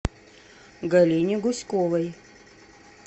галине гуськовой